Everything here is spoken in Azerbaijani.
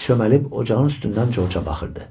Lenni çömbəlib ocağın üstündən Corca baxırdı.